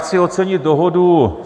Chci ocenit dohodu